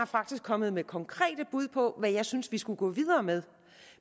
faktisk kommet med konkrete bud på hvad jeg synes vi skulle gå videre med